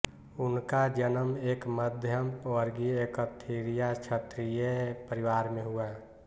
उनका जन्म एक मध्यम वर्गीय एकथरीया क्षत्रिय परिवार में हुआ